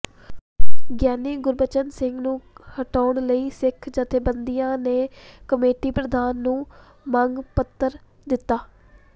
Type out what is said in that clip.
ਗਿਆਨੀ ਗੁਰਬਚਨ ਸਿੰਘ ਨੂੰ ਹਟਾਉਣ ਲਈ ਸਿੱਖ ਜਥੇਬੰਦੀਆਂ ਨੇ ਕਮੇਟੀ ਪ੍ਰਧਾਨ ਨੂੰ ਮੰਗ ਪੱਤਰ ਦਿੱਤਾ